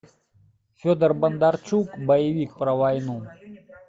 федор бондарчук боевик про войну